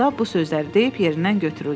Qustav bu sözləri deyib yerindən götürüldü.